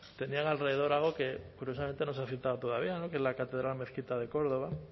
tenían alrededor algo que curiosamente no se ha citado todavía que es la catedral mezquita de córdoba